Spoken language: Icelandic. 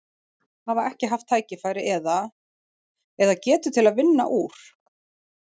Hafa ekki haft tækifæri eða, eða getu til að vinna úr?